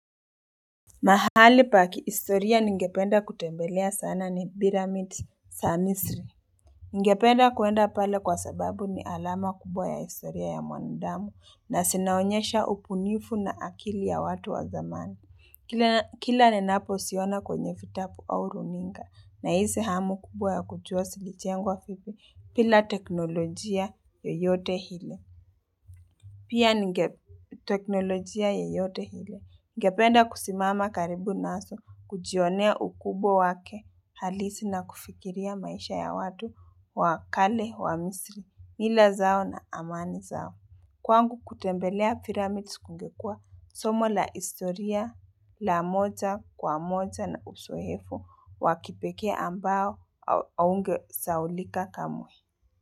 Mahali pakihistoria ningependa kutembelea sana ni piramid za misiri Ningependa kwenda pale kwa sababu ni alama kubwa ya historia ya mwandamu na zinaonyesha ubunifu na akili ya watu wa zamani Kila ninapo zioana kwenye vitabu au runinga na hisi hamu kubwa ya kujua zilinjengwa vipi bila teknolojia yoyote ile Pia ningeteknolojia yoyote ile Ngependa kusimama karibu naso, kujionea ukubwa wake, halisi na kufikiria maisha ya watu, wakale, wa misri, mila zao na amani zao. Kwangu kutembelea piramids kungekua, somo la istoria, la moja, kwa moja na usoefu, wakipekee ambao aungesaulika kamwe.